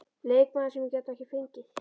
Leikmaður sem ég gat ekki fengið?